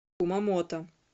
кумамото